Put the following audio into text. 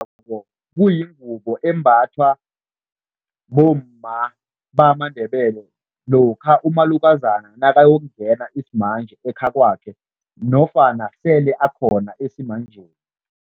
Kuyingubo embathwa bomma bamaNdebele lokha umalukazana nakayokungena isimanje ekhakwakhe nofana sele akhona esimanjeni.